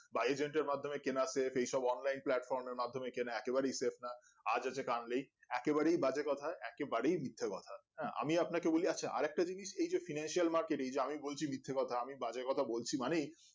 বা agent এর মাধ্যমে কেনা save এইসব online platform এর মাধ্যমে কেনা একেবারেই save না আজ আছে কাল নেই একেবারেই বাজে কথা একেবারেই মিথ্যা কথা আহ আমি আপনাকে আছে আরেকটা জিনিস এই যে financial Markets এ এই যে আমি বলছি মিথ্যা কথা আমি বাজে কথা বলছি মানেই